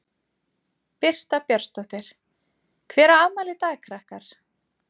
Birta Björnsdóttir: Hver á afmæli í dag krakkar?